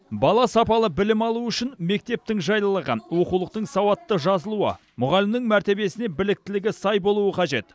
бала сапалы білім алуы үшін мектептің жайлылығы оқулықтың сауатты жазылуы мұғалімнің мәртебесіне біліктілігі сай болуы қажет